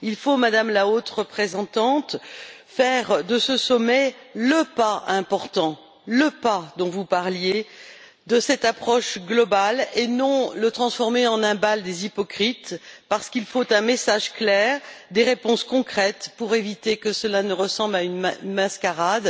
Il faut, Madame la Haute représentante, faire de ce sommet le pas important, le pas dont vous parliez, de cette approche globale et non le transformer en un bal des hypocrites, parce qu'il faut un message clair, des réponses concrètes, pour éviter que cela ne ressemble à une mascarade.